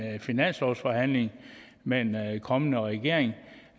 finanslovsforhandling med en kommende regering